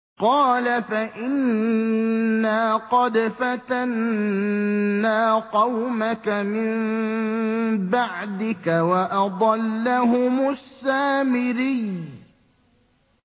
قَالَ فَإِنَّا قَدْ فَتَنَّا قَوْمَكَ مِن بَعْدِكَ وَأَضَلَّهُمُ السَّامِرِيُّ